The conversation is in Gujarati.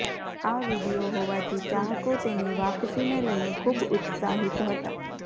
આ વીડિયો હોવાથી ચાહકો તેની વાપસીને લઈને ખૂબ ઉત્સાહિત હતા